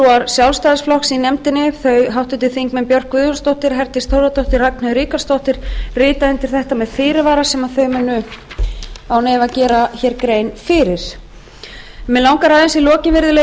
fulltrúar sjálfstæðisflokks í nefndin þau háttvirtur þingmaður björk guðjónsdóttir herdís þórðardóttir og ragnheiður ríkharðsdóttir rita undir þetta með fyrirvara sem þau munu án efa gera hér grein fyrir mig langar aðeins í lokin virðulegi